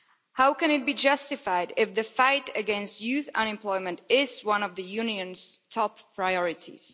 How can it be justified if the fight against youth unemployment is one of the Union's top priorities?